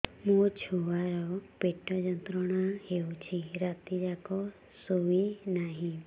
ମୋ ଛୁଆର ପେଟ ଯନ୍ତ୍ରଣା ହେଉଛି ରାତି ଯାକ ଶୋଇନାହିଁ